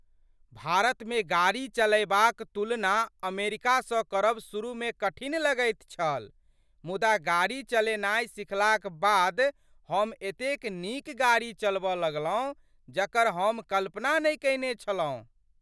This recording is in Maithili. भारतमे गाड़ी चलयबाक तुलना अमेरिकासँ करब शुरूमे कठिन लगैत छल, मुदा गाड़ी चलेनाय सिखलाक बाद हम एतेक नीक गाड़ी चलबऽ लगलहुँ जकर हम कल्पना नहि कयने छलहुँ ।